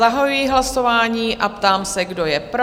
Zahajuji hlasování a ptám se, kdo je pro?